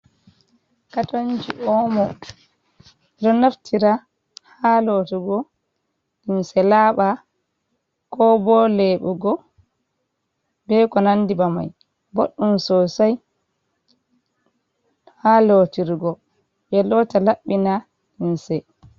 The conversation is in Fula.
Katonji omo, ɗo naftira ha lotugo limse laɓa, ko bo lebugo be ko nandi ba mai, boɗɗum sosai ha lotirgo ɓe lota laɓɓina limse.